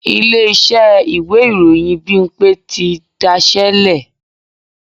Ilé-iṣẹ́ ìwé ìròyìn Bímpé ti daṣẹ́ lẹ̀